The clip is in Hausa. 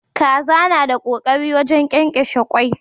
Kaza ta na da kokari wajen kyankyashe kwai.